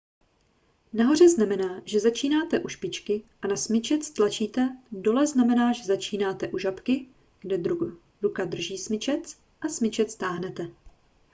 nahoře znamená že začínáte u špičky a na smyčec tlačíte dole znamená že začínáte u žabky kde ruka drží smyčec a smyčec táhnete